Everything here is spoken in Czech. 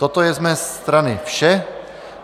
Toto je z mé strany vše.